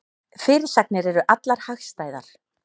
Fyrirsagnir eru allar hagstæðar